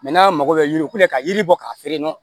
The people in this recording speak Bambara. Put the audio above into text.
n'a mago bɛ yiri ko la ka yiri bɔ k'a feere